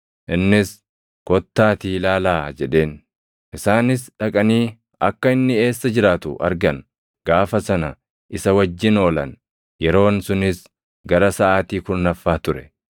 Innis, “Kottaatii ilaalaa” jedheen. Isaanis dhaqanii akka inni eessa jiraatu argan; gaafa sana isa wajjin oolan. Yeroon sunis gara saʼaatii kurnaffaa ture.